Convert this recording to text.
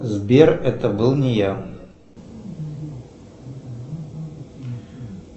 сбер это был не я